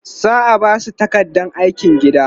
za'a Basu takardar aikin gida